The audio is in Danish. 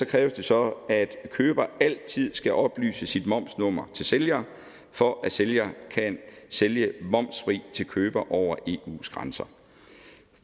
kræves det så at køber altid skal oplyse sit momsnummer til sælger for at sælger kan sælge momsfrit til købere over eus grænser